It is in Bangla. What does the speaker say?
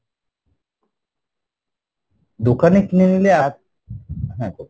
দোকানে কিনলে, আহ হ্যাঁ বলুন।